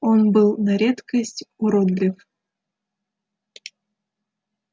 он был на редкость уродлив